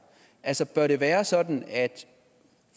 altså bør det være sådan at